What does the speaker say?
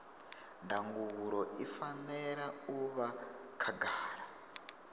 ndangulo i fanela u vha khagala